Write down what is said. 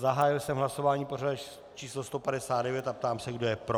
Zahájil jsem hlasování pořadové číslo 159 a ptám se, kdo je pro.